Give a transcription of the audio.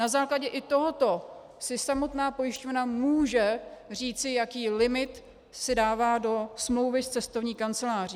Na základě i tohoto si samotná pojišťovna může říci, jaký limit si dává do smlouvy s cestovní kanceláří.